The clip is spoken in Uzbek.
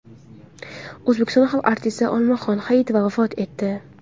O‘zbekiston xalq artisti Olmaxon Hayitova vafot etdi.